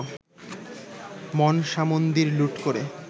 মনসামন্দির লুঠ করেন